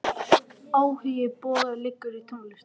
Áhugi Boga liggur í tónlist.